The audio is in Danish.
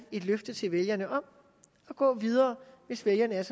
et løfte til vælgerne om at gå videre hvis vælgerne er